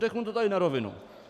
Řeknu to tady na rovinu.